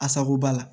Asako b'a la